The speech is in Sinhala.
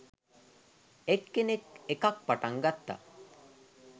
එක් කෙනෙක් එකක් පටං ගත්තා